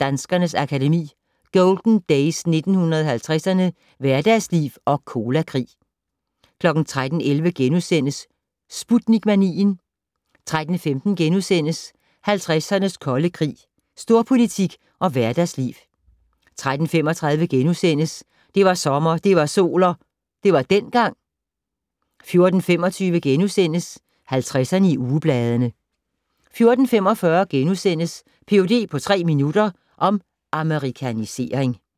Danskernes Akademi: Golden Days 1950'erne - Hverdagsliv og Colakrig * 13:11: Sputnik-manien * 13:15: 50'ernes kolde krig - Storpolitik og hverdagsliv * 13:35: Det var sommer, det var sol - det var dengang * 14:25: 50'erne i ugebladene * 14:45: Ph.d. på tre minutter - om amerikanisering *